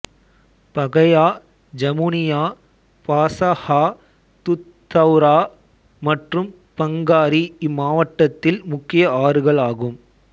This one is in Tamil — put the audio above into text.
பகையா ஜமுனியா பாசஹா துத்தௌரா மற்றும் பங்காரி இம்மாவட்டத்தில் முக்கிய ஆறுகள் ஆகும்